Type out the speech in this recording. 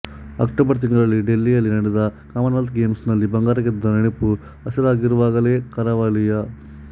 October ತಿಂಗಳಲ್ಲಿ ಡೆಲ್ಲಿಯಲ್ಲಿ ನಡೆದ ಕಾಮನ್ ವೆಲ್ತ್ ಗೇಮ್ಸ್ ನಲ್ಲಿ ಬಂಗಾರ ಗೆದ್ದ ನೆನಪು ಹಸಿರಾಗಿರುವಾಗಲೇ ಕರಾವಳಿಯ